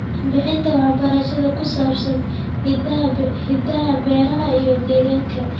Bixinta waxbarashada ku saabsan hidaha beeraha iyo deegaanka.